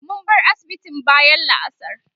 mun bar asibitin bayan la'asar